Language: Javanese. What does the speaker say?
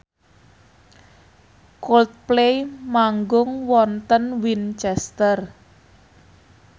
Coldplay manggung wonten Winchester